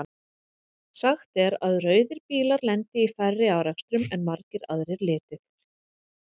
Sagt er að rauðir bílar lendi í færri árekstrum en margir aðrir litir.